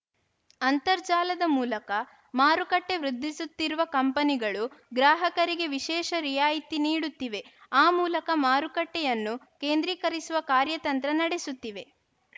ಅಂತರ್ಜಾಲದ ಮೂಲಕ ಮಾರುಕಟ್ಟೆವೃದ್ಧಿಸುತ್ತಿರುವ ಕಂಪನಿಗಳು ಗ್ರಾಹಕರಿಗೆ ವಿಶೇಷ ರಿಯಾಯ್ತಿ ನೀಡುತ್ತಿವೆ ಆ ಮೂಲಕ ಮಾರುಕಟ್ಟೆಯನ್ನು ಕೇಂದ್ರೀಕರಿಸುವ ಕಾರ್ಯತಂತ್ರ ನಡೆಸುತ್ತಿವೆ